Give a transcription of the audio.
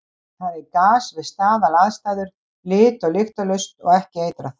Það er gas við staðalaðstæður, lit- og lyktarlaust og ekki eitrað.